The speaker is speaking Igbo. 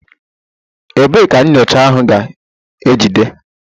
Ebee ka nyocha ahụ ga-ejide?